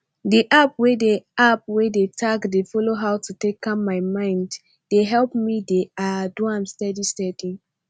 di app wey dey app wey dey tack dey follow how to take calm my mind dey help me dey ah do am steady steady